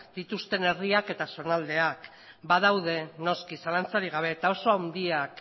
dituzten herriak eta zonaldeak badaude noski zalantzarik gabe eta oso handiak